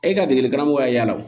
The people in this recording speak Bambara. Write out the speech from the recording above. E ka degeli karamɔgɔya y'a la